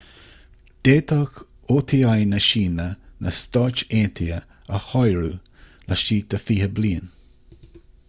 d'fhéadfadh oti na síne na stáit aontaithe a shárú laistigh de fiche bliain